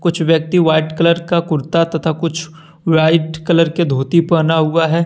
कुछ व्यक्ति white colour का कुर्ता तथा कुछ व्हाइट कलर के धोती पहना हुआ है।